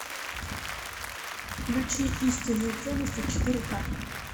включи истинные ценности четыре к